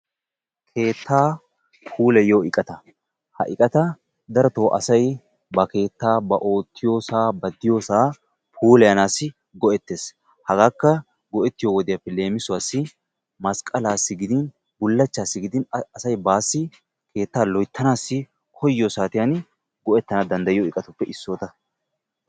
Keettaa puulayiyo iqata. Ha eqqata darotoo asay ba keettaa, ba oottiyoosaa, ba diyoosaa puulayanaassi go"ettees. Hagaakka go"ettiyo wodiyaappe leemisuwaassi masqqalaassi gidin bullachchaassi gidin asay baassi keettaa loyttanaassi koyiyo saatiyan go"ettanaw danddayiyo eqatuppe issota.